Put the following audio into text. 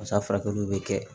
Musoya furakɛliw bɛ kɛ